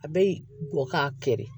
A bɛ bɔ ka kɛlɛ